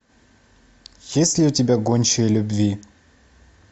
есть ли у тебя гончие любви